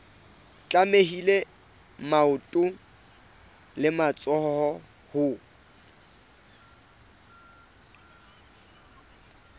tlamehile maoto le matsoho ho